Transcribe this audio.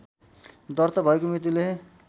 दर्ता भएको मितिले